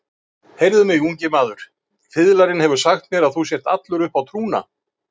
Heyrðu mig, ungi maður, fiðlarinn hefur sagt mér að þú sért allur uppá trúna.